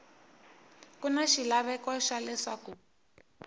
ku na xilaveko xa leswaku